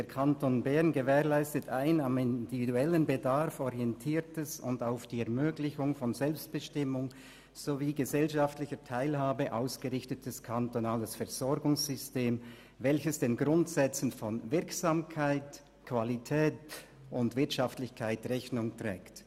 «Der Kanton Bern gewährleistet ein am individuellen Bedarf orientiertes und auf die Ermöglichung von Selbstbestimmung sowie gesellschaftlicher Teilhabe ausgerichtetes kantonales Versorgungssystem, welches den Grundsätzen von Wirksamkeit, Qualität und Wirtschaftlichkeit Rechnung trägt.»